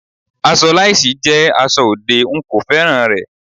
Aṣọ lásìì jẹ́ aṣọ òde, n kò féràn rẹ̀.